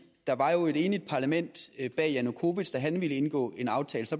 der var et enigt parlament bag janukovitj da han ville indgå en aftale